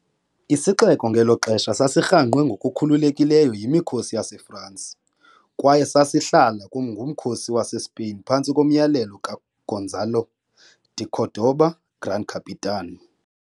Isixeko ngelo xesha sasirhangqwe ngokukhululekileyo yimikhosi yaseFransi, kwaye sasihlala ngumkhosi waseSpain phantsi komyalelo kaGonzalo de Cordoba 'Gran Capitan'.